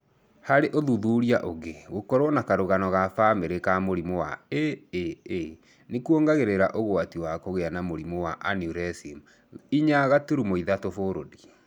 Harĩ ũthuthuria ũngĩ, gũkorwo na karũgano ga bamĩrĩ ka mũrimũ wa AAA nĩkuongagĩrĩra ũgwati wa kũgĩa na mũrimũ wa aneurysm 4.3 fold.